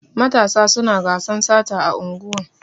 Matasa suna gasan sata a unguwan.